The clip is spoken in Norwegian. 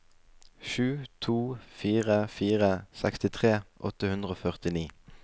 sju to fire fire sekstitre åtte hundre og førtini